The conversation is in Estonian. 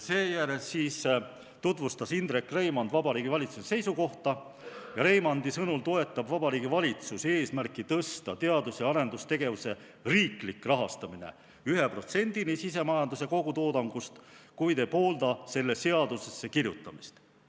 Seejärel tutvustas Indrek Reimand Vabariigi Valitsuse seisukohta ja Reimandi sõnul toetab Vabariigi Valitsus eesmärki tõsta teadus- ja arendustegevuse riiklik rahastamine 1%-ni sisemajanduse kogutoodangust, kuid ei poolda selle seadusesse kirjutamist.